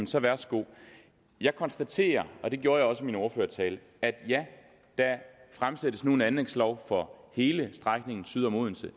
så værsgo jeg konstaterer og det gjorde jeg også i min ordførertale at ja der fremsættes nu et anlægslov for hele strækningen syd om odense